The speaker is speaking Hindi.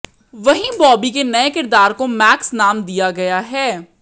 वहीं बॉबी के नए किरदार को मैक्स नाम दिया गया है